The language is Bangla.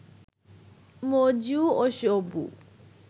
মজু ও সবু